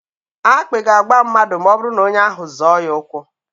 Akpị ga-agba mmadụ ma ọbụrụ na onye ahụ zọọ ya ụkwụ.